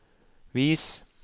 vis